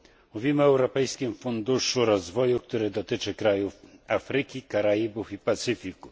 Mówimy o Europejskim Funduszu Rozwoju, który dotyczy krajów Afryki, Karaibów i Pacyfiku.